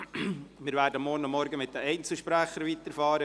Wir werden morgen Vormittag mit den Einzelsprechern weiterfahren.